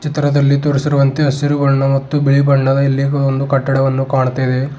ಚಿತ್ರದಲ್ಲಿ ತೋರಿಸಿರುವಂತೆ ಹಸಿರು ಬಣ್ಣ ಮತ್ತು ಬಿಳಿ ಬಣ್ಣದ ಇಲ್ಲಿ ಒಂದು ಕಟ್ಟಡವನ್ನು ಕಾಣುತ್ತ ಇದೆ.